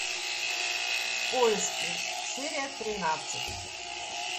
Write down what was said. в поиске серия тринадцать